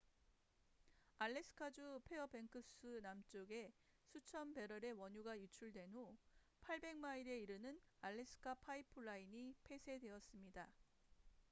알래스카 주 페어뱅크스 남쪽에 수천 배럴의 원유가 유출된 후 800마일에 이르는 알래스카 파이프라인trans-alaska pipeline system이 폐쇄되었습니다